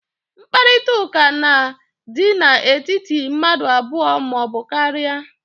Mkparịta ụka na dị n'etiti mmadụ abụọ ma ọ bụ karịa